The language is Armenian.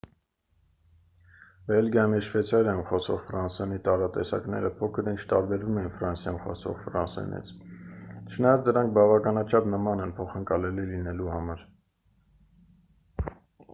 բելգիայում և շվեյցարիայում խոսվող ֆրանսերենի տարատեսակները փոքր-ինչ տարբերվում են ֆրանսիայում խոսվող ֆրանսերենից չնայած դրանք բավականաչափ նման են փոխընկալելի լինելու համար